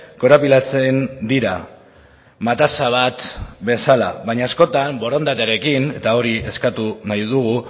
korapilatzen dira mataza bat bezala baina askotan borondatearekin eta hori eskatu nahi dugu